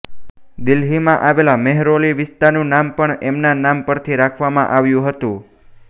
દિલ્હીમાં આવેલા મેહરોલી વિસ્તારનું નામ પણ એમના નામ પરથી રાખવામાં આવ્યું હતું